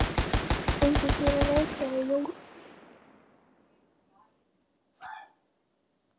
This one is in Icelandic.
Fengið þér að reykja í rólegheitunum?